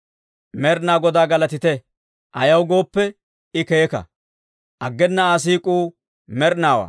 Med'inaa Godaa galatite! Ayaw gooppe, I keeka; aggena Aa siik'uu med'inaawaa.